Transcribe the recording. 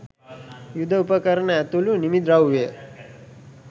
යුද උපකරණ ඇතුළු නිමි ද්‍රව්‍ය